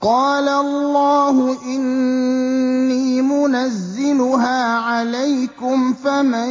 قَالَ اللَّهُ إِنِّي مُنَزِّلُهَا عَلَيْكُمْ ۖ فَمَن